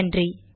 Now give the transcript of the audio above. நன்றி